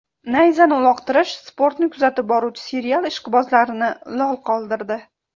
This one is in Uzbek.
Nayzani uloqtirish sportni kuzatib boruvchi serial ishqibozlarini lol qoldirdi.